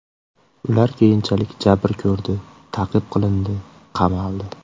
Ular keyinchalik jabr ko‘rdi, ta’qib qilindi, qamaldi.